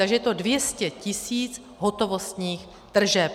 Takže je to 200 000 hotovostních tržeb.